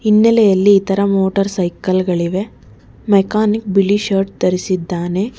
ಹಿನ್ನೆಲೆಯಲ್ಲಿ ಇತರ motorcycle ಗಳಿವೆ ಮೆಕಾನಿಕ್ ಬಿಳಿ ಶರ್ಟ್ ಧರಿಸಿದ್ದಾನೆ.